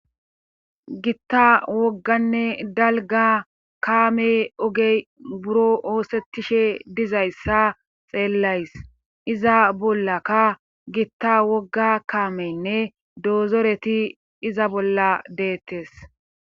gitta wogganne dalga kaame ogey buro oosettishe dizayssa xeellays iza bollakka gitta wogga kaameynne doozoreti iza bolla deettes